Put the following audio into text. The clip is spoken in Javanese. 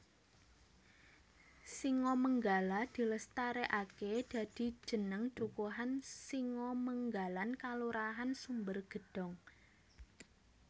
Singomenggala dilestareake dadi jeneng dukuhan Singomenggalan Kelurahan Sumbergedong